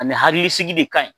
A ni hakili sigi de ka ɲi.